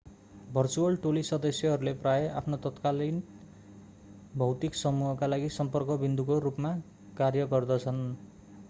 virtual टोली सदस्यहरूले प्रायः आफ्ना तत्कालिन भौतिक समूहका लागि सम्पर्क विन्दुको रूपमा कार्य गर्दछन्